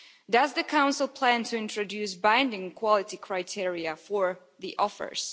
Does the Council plan to introduce binding quality criteria for the offers?